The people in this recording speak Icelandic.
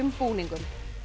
búningum